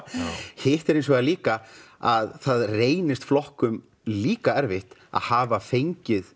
hitt er hins vegar líka að það reynist flokkum líka erfitt að hafa fengið